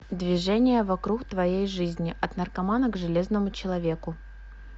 движение вокруг твоей жизни от наркомана к железному человеку